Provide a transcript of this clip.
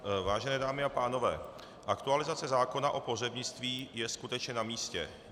Vážené dámy a pánové, aktualizace zákona o pohřebnictví je skutečně na místě.